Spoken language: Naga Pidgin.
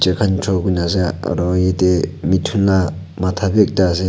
tai kan draw kurikina ase aru yati mithun laka mata bi ekta ase.